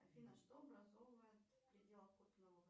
афина что образовывает